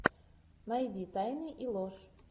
найди тайны и ложь